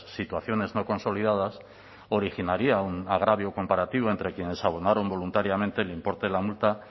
situaciones no consolidadas originaría un agravio comparativo entre quienes abonaron voluntariamente el importe de la multa